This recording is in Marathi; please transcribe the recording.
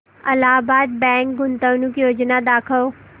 अलाहाबाद बँक गुंतवणूक योजना दाखव